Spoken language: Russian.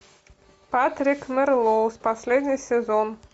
патрик мелроуз последний сезон